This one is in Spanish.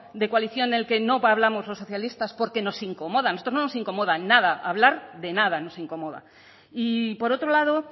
de coalición en el que no hablamos los socialistas porque nos incomoda nosotros no nos incomoda nada hablar de nada nos incomoda y por otro lado